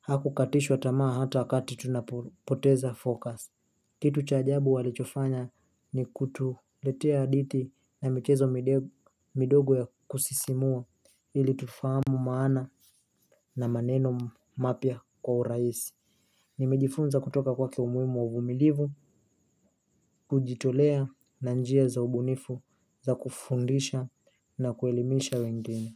hakukatishwa tamaa hata wakati tunapoteza fokas. Kitu cha ajabu alichofanya ni kutuletea aditi na mchezo midogo ya kusisimua ili tufamu maana na maneno mapya kwa uraisi. Nimejifunza kutoka kwake umuimu wa uvumilivu, kujitolea na njia za ubunifu za kufundisha na kuelimisha wengine.